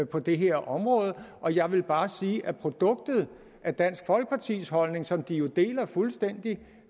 på det her område og jeg vil bare sige at produktet af dansk folkepartis holdning som de deler fuldstændig